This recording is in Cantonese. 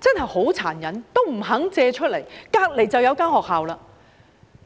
真的很殘忍，這樣也不願意借出場地——旁邊便有一間學校了。